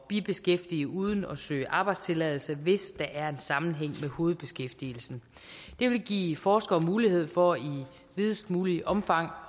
bibeskæftigelse uden at søge arbejdstilladelse hvis der er en sammenhæng med hovedbeskæftigelsen det vil give forskere mulighed for i videst muligt omfang